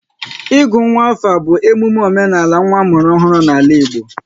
Ịgụ nwa afa bụ emume omenala nwa a mụrụ ọhụrụ n'ala Igbo